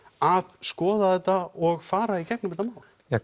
að skoða þetta og fara í gegnum þetta mál